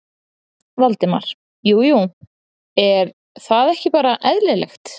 Valdimar: Jú jú, er það ekki bara eðlilegt?